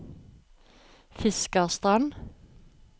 Fiskarstrand